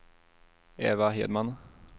Eva Hedman